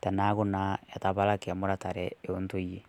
tanaaku naa etepaalaki muratare e ntoiyee.